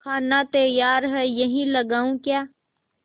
खाना तैयार है यहीं लगाऊँ क्या